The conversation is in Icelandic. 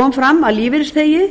kom fram að lífeyrisþegi